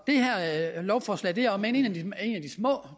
lovforslag om end et af de små